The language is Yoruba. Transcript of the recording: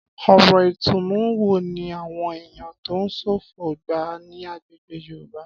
Ọ̀rọ̀ ìtùnú wo ni àwọn èèyàn tó ń ṣọ̀fọ̀ ń gbà ní agbègbè Yorùbá?